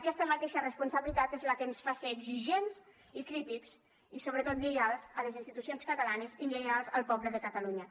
aquesta mateixa responsabilitat és la que ens fa ser exigents i crítics i sobretot lleials a les institucions catalanes i lleials al poble de catalunya